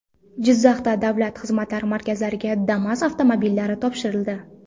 Jizzaxda davlat xizmatlari markazlariga Damas avtomobillari topshirildi .